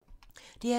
DR2